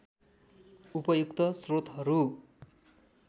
उपयुक्त स्रोतहरू